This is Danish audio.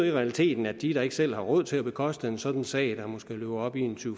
i realiteten at de der ikke selv har råd til at bekoste en sådan sag der måske løber op i